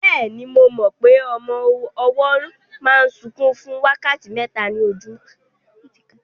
Bẹ́ẹ̀ni, mo mọ pé ọmọ ọwọ́ máa ń sunkún fún wákàtí mẹ́ta ní ojúmọ́